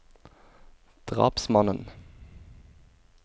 drapsmannen